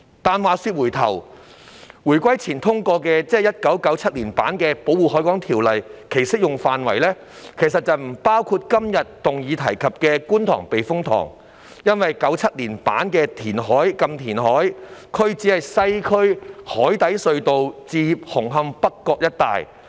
但話說回來，回歸前通過的——即1997年版的——《條例》的適用範圍，其實不包括今天議案提及的觀塘避風塘，因為《1997年條例》下的"禁填海"區只是西區海底隧道至紅磡北角一帶的海港。